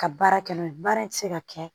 Ka baara kɛ n'o ye baara in tɛ se ka kɛ